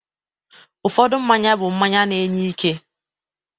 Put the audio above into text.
Ụfọdụ mmanya bụ mmanya na-enye ike